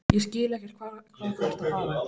Ég skil ekkert hvað þú ert að fara.